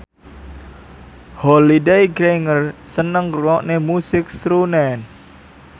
Holliday Grainger seneng ngrungokne musik srunen